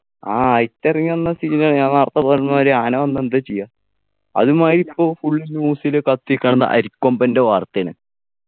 ആ അയിറ്റ് ഇറങ്ങിവന്നാ scene ആണ് ഞാൻ നേരത്തെ പറഞ്ഞമാതിരി ആന വന്നാ എന്താ ചെയ്യാ അതുമായിരി ഇപ്പോൾ full news ല് കത്തിനിക്കണത് അരിക്കൊമ്പൻ്റെ വാർത്തയാണ്